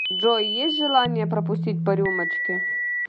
джой есть желание пропустить по рюмочке